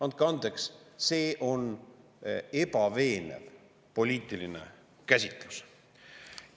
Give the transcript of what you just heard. Andke andeks, see on ebaveenev poliitiline käsitlus.